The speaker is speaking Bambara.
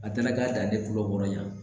A taara k'a dan ne kulo kɔrɔ yan